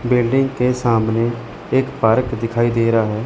Building के सामने एक पार्क दिखाई दे रहा है।